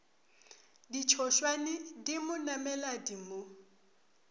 ditšhošwane di mo nameladi mo